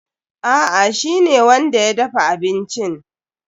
A'a, shi ne wanda ya dafa abincin.